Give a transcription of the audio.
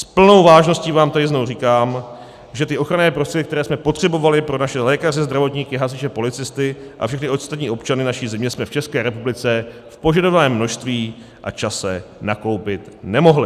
S plnou vážností vám tady znovu říkám, že ty ochranné prostředky, které jsme potřebovali pro naše lékaře, zdravotníky, hasiče, policisty a všechny ostatní občany naší země, jsme v České republice v požadovaném množství a čase nakoupit nemohli.